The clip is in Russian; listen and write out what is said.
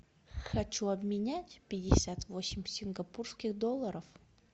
хочу обменять пятьдесят восемь сингапурских долларов